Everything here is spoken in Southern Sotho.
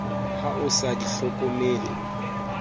ha o sa di hlokomele